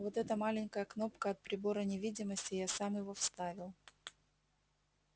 вот эта маленькая кнопка от прибора невидимости я сам его вставил